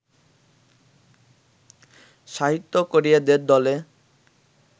সাহিত্য-করিয়েদের দলে